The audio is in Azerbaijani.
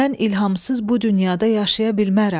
Mən İlhamsız bu dünyada yaşaya bilmərəm.